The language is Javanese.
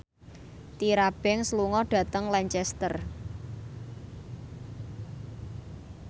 Tyra Banks lunga dhateng Lancaster